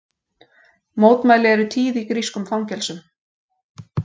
Mótmæli eru tíð í grískum fangelsum